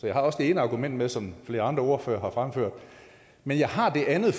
jeg har også det ene argument med som flere andre ordførere har fremført men jeg har det andet